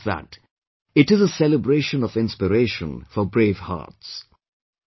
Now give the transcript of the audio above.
And not just that, it is a celebration of inspiration for brave hearts